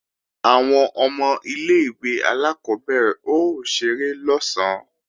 Àwọn ọmọ ilé-ìwé alákọ́bẹ̀rẹ̀ ó ṣeré lọ̀sán